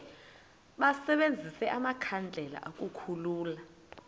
basebenzise amakhandlela ukukhulula